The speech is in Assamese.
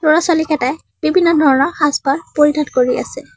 ল'ৰা-ছোৱালী কেটাই বিভিন্ন ধৰণৰ সাজপাৰ পৰিধান কৰি আছে।